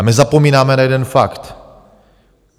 A my zapomínáme na jeden fakt.